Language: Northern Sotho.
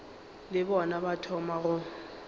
le bona ba thoma go